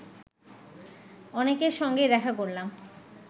অনেকের সঙ্গেই দেখা করলাম